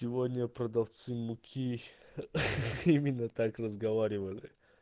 сегодня продавцы муки ха-ха именно так разговаривали